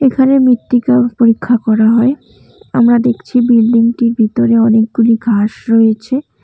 এখানে মৃত্তিকা পরীক্ষা করা হয় আমরা দেখছি বিল্ডিংটির ভিতরে অনেকগুলি ঘাস রয়েছে।